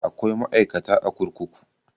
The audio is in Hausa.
Akwai ma'aikata a kurkuku